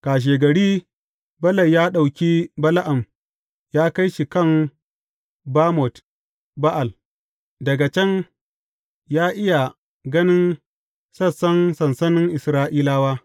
Kashegari, Balak ya ɗauki Bala’am ya kai shi kan Bamot Ba’al, daga can ya iya ganin sassan sansanin Isra’ilawa.